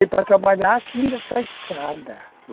Veio para trabalhar aqui nessa estrada.